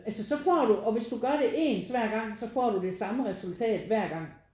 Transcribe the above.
Altså så får du og hvis du gør det ens hver gang så får du det samme resultat hver gang